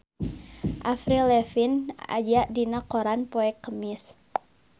Avril Lavigne aya dina koran poe Kemis